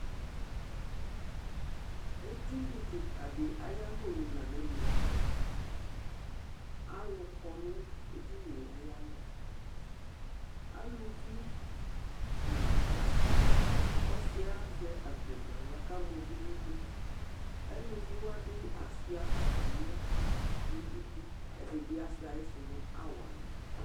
Ediní kìka di ayʋ alɔnʋ la nʋ ɛmɛ Alʋ kɔ nʋ edini ye ayʋ alɔ Alʋvi nʋ asi Ɔsi yɛ azɛ akpo nʋ aɣla kʋ ama uvi nʋ idu Elʋvi wa bi asʋia atami akpo nʋ idu Ɛdí bi asʋia ayisu nʋ awala